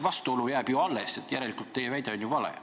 Vastuolu jääb ju alles, järelikult teie väide on vale.